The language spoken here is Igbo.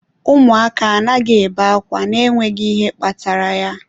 Ụmụaka anaghị ebe ákwá n'enweghị ihe kpatara ya.